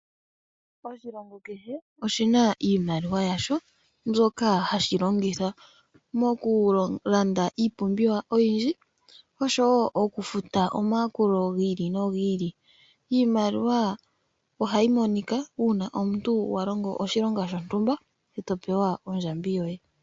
Oshilongo keke oshina iimaliwa yasho mbyoka hashi longitha mokukanda iipumbiwa oyindji oshowo omayakulo giili nogiili. Iimaliwa ohayi monika uuna wa longa oshilonga shontumba eto pewa ondjambi yoye.